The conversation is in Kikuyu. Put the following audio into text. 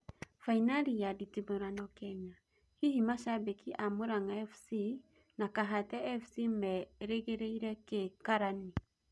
Fainarĩ ya nditimũrano Kenya: Hihi mashabĩki a Mũrang'a Fc na Kahatia Fc merĩgĩrĩire kĩ Karani?